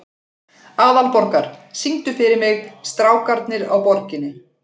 Aðalborgar, syngdu fyrir mig „Strákarnir á Borginni“.